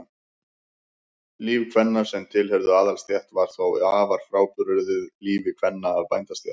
Líf kvenna sem tilheyrðu aðalsstétt var þó afar frábrugðið lífi kvenna af bændastétt.